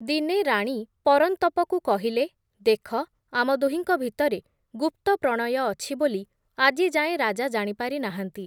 ଦିନେ ରାଣୀ ପରନ୍ତପକୁ କହିଲେ, ଦେଖ, ଆମ ଦୁହିଁଙ୍କ ଭିତରେ ଗୁପ୍ତପ୍ରଣୟ ଅଛି ବୋଲି ଆଜିଯାଏଁ ରାଜା ଜାଣିପାରି ନାହାଁନ୍ତି।